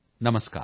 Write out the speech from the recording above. ਨਮਸਕਾਰ